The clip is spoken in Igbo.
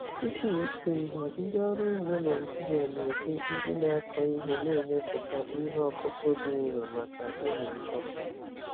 Tupu ịkụ ihe, ndị ọrụ ugbo Naijiria na-eji ndị na-akọ ihe na-emepụta ihe ọkụkụ dị nro maka ịmị mkpụrụ.